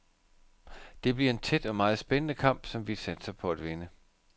Det bliver en tæt og meget spændende kamp, som vi satser på at vinde.